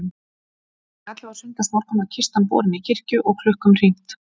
Klukkan ellefu á sunnudagsmorgun var kistan borin í kirkju og klukkum hringt.